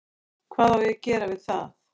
Hvað á ég að gera við það?